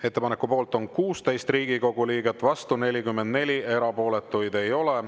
Ettepaneku poolt on 16 Riigikogu liiget, vastu 44, erapooletuid ei ole.